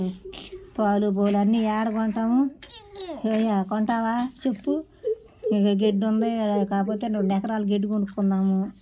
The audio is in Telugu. పాలు గోలు అన్ని ఏడ గొంటాము ఏమయ్యా కొంటావా చెప్పు ఇంగో గడ్డి ఉంది కాపోతే రెండు ఎకరాలు గడ్డి కొనుక్కుందాము.